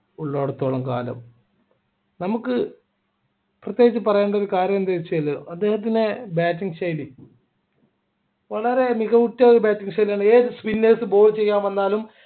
ഉള്ളോടത്തോളം കാലം നമുക്ക് പ്രത്യേകിച്ച് പറയേണ്ട ഒരു കാര്യം എന്താണെന്ന് വെച്ചാൽ അദ്ദേഹത്തിൻ്റെ bating ശൈലി വളരെ മികവുറ്റ ഒരു bating ശൈലിയാണ് ഏത് spinners ball ചെയ്യാൻ വന്നാലും